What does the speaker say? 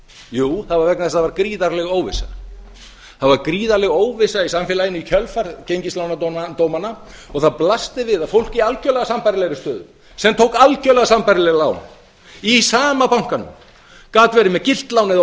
jú það var vegna þess að það var gríðarleg óvissa það var gríðarleg óvissa í samfélaginu í kjölfar gengislánadómanna og það blasti við að fólk í algjörlega sambærilegri stöðu sem tók algjörlega sambærileg lán í sama bankanum gat verið með gilt lán eða